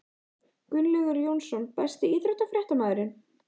Gunnlaugur Jónsson Besti íþróttafréttamaðurinn?